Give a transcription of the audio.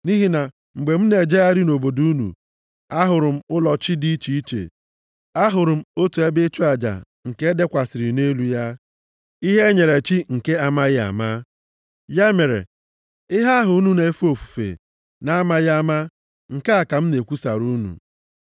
Nʼihi na mgbe m na-ejegharị nʼobodo unu, ahụrụ m ụlọ chi dị iche iche, ahụrụ m otu ebe ịchụ aja nke e dekwasịrị nʼelu ya: Ihe e nyere chi nke amaghị ama. Ya mere, ihe ahụ unu na-efe ofufe nʼamaghị ama nke a ka m na-ekwusara unu.